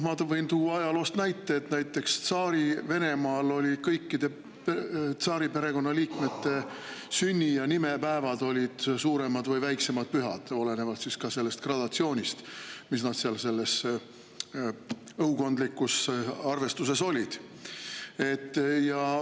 Ma võin tuua ajaloost näite: Tsaari-Venemaal olid kõikide tsaariperekonna liikmete sünni- ja nimepäevad suuremad või väiksemad pühad olenevalt gradatsioonist õukondlikus arvestuses.